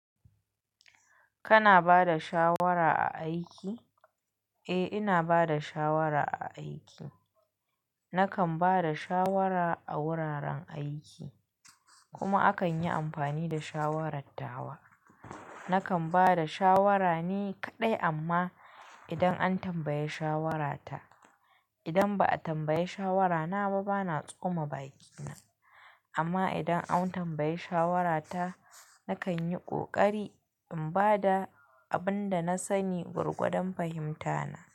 Kana bada shawara a aiki? Eh, ina bada shawara a aiki. Nakan bada shawara a wuraren aiki kuma akan yi amfani da shawarar tawa. Nakan bada shawara ne kaɗai amma idan an tambayi shawarata. Idan ba ayi tambayi shawara na ba, bana tsoma bakina. Amma idan an tambaye shawarata, nakan yi ƙoƙari in bada abin da na sani gwargwadon fahimta na.